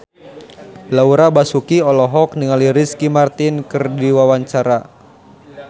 Laura Basuki olohok ningali Ricky Martin keur diwawancara